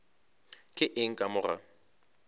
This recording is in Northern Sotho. ke eng ka mo ga